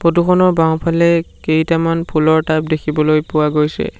Photo খনৰ বাওঁফালে কেইটামান ফুলৰ টাব দেখিবলৈ পোৱা গৈছে।